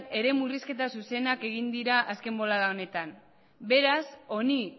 ere murrizketa zuzenak egin dira azken bolada honetan beraz honi